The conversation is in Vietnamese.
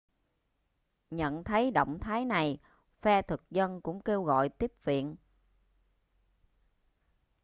nhận thấy động thái này phe thực dân cũng kêu gọi tiếp viện